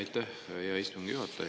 Aitäh, hea istungi juhataja!